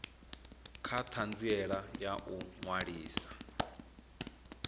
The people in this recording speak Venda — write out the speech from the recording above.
kha ṱhanziela ya u ṅwalisa